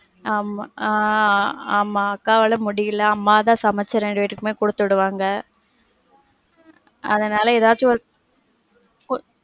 ஆமா ஆஹ் ஆமா அக்காவால முடில, அம்மா தான் சமைச்சு ரெண்டு பேர்த்துக்குமே குடுத்து விடுவாங்க. அதனால எதாச்சி ஒரு கு~